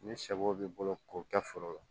Ni shɛw b'i bolo k'u kɛ foro la